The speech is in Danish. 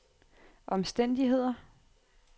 omstændigheder